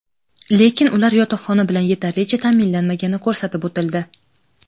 lekin ular yotoqxona bilan yetarlicha ta’minlanmagani ko‘rsatib o‘tildi.